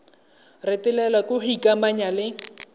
retelelwa ke go ikamanya le